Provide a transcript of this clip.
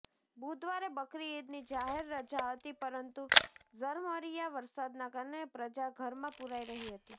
બુધવારે બકરી ઈદની જાહેર રજા હતી પરંતુ ઝરમરીયા વરસાદના કારણે પ્રજા ઘરમાં પુરાઈ રહી હતી